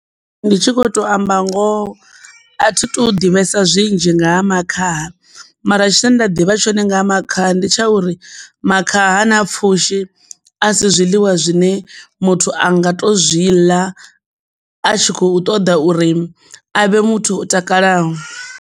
Ndi tshi kho to amba ngoho a thi tu ḓivhesa zwinzhi nga ha makhaha mara tshine nda ḓivha tshone nga makhaha ndi tsha uri makhaha na pfhushi a si zwiḽiwa zwine muthu a nga to zwi ḽa a tshi kho ṱoḓa uri avhe muthu o takalaho.